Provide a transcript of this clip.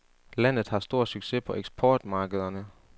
Landet har stor succes på eksportmarkederne.